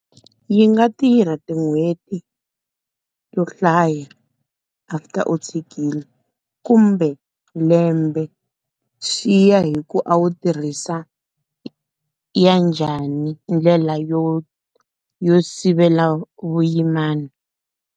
Yi nga tirha tin'hweti to hlaya after u tshikile kumbe lembe. Swiya hi ku a wu tirhisa ya njhani ndlela yo yo sivela vuyimana.